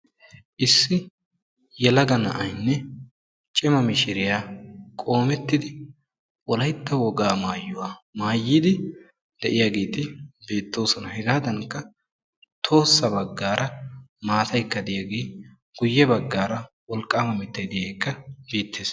Issi yelaga na'aynne cima mishiriya qoomettidi wolaytta wogaa maayuwa maayidi de'iyageeti beettoosona. Heggadankka, tohossa baggaara maataay de'iyage guye baggaara wolqqaama mittay diyaageekka beettees.